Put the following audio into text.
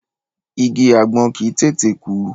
Igi àgbọn kì í tètè kú.